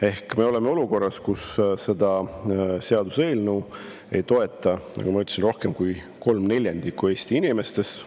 Ehk me oleme olukorras, kus seda seaduseelnõu ei toeta, nagu ma ütlesin, rohkem kui kolm neljandikku Eesti inimestest.